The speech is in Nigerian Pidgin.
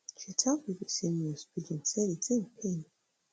she tell bbc news pidgin say di tin pain